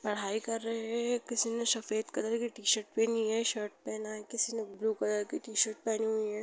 पढ़ाई कर रहे है किसी ने सफेद कलर की टी-शर्ट पहनी है शर्ट पहना है किसी ने ब्लू कलर की टी-शर्ट पहनी हुई है।